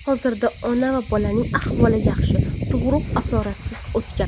Hozirda ona va bolaning ahvoli yaxshi, tug‘ruq asoratsiz o‘tgan.